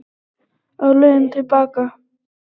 Á leiðinni til baka í